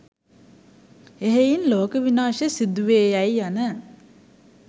එහෙයින් ලෝක විනාශය සිදුවේයැයි යන